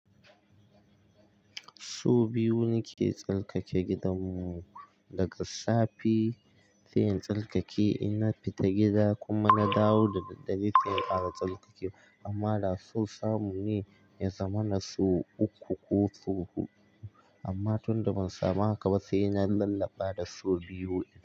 Su biyu ne ke tsarkake gidanmu daga safe sai in tsarkake. Ina fita gida kuma na dawo da dare sai bara tsarkake. Amma da su samu ne ya zama na su uku ko hudu. Amma tun da ban samu haka ba sai na lalaba da su biyu.